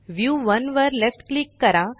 view 1 वर left click करा